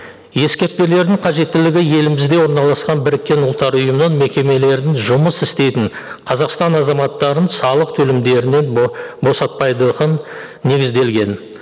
ескертпелердің қажеттілігі елімізде орналасқан біріккен ұлттар ұйымының мекемелерін жұмыс істейтін қазақстан азаматтарын салық төлемдерінен босатпайды негізделген